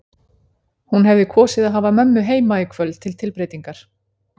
Hún hefði kosið að hafa mömmu heima í kvöld til tilbreytingar.